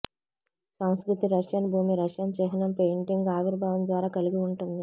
సంస్కృతి రష్యన్ భూమి రష్యన్ చిహ్నం పెయింటింగ్ ఆవిర్భావం ద్వారా కలిగి ఉంటుంది